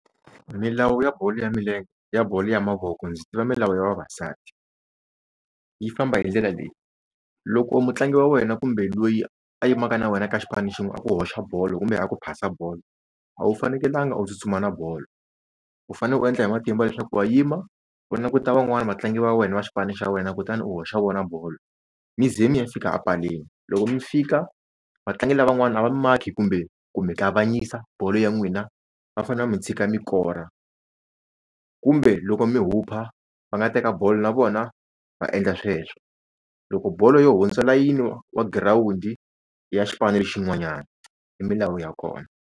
Milawu ya bolo ya milenge ya bolo ya mavoko ndzi tiva milawu ya vavasati yi famba hi ndlela leyi loko mutlangi wa wena kumbe loyi a yimaka na wena ka xipano xin'we a ku hoxa bolo kumbe a ku phasa bolo a wu fanekelanga u tsutsuma na bolo u fane u endla hi matimba leswaku wa yima u vatlangi van'wani vatlangi va wena va xipano xa wena kutani u hoxa vona bolo mi ze mi ya fika epaleni loko mi fika vatlangi lavan'wana a va mi makhi kumbe ku mi kavanyisa bolo ya n'wina va fanele va mi tshika mi kora kumbe loko mi hupha va nga teka bolo na vona va endla sweswo loko bolo yo hundzula yini wa girawundi ya xipano xin'wanyana i milawu ya kona.